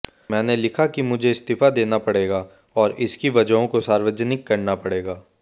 मैंने लिखा कि मुझे इस्तीफा देना पड़ेगा और इसकी वजहों को सार्वजनिक करना पड़ेगा